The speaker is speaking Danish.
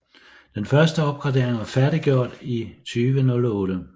Den første opgradering var færdiggjort i 2008